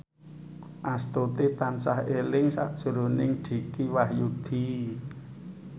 Astuti tansah eling sakjroning Dicky Wahyudi